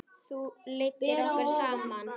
Þú leiddir okkur saman.